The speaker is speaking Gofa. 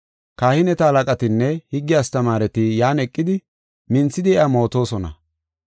Kahineta halaqatinne higge astamaareti yan eqidi minthidi iya mootosona.